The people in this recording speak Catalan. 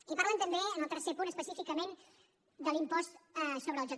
i parlen també en el tercer punt específicament de l’impost sobre el joc